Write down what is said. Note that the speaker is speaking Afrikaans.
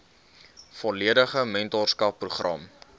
volledige mentorskap program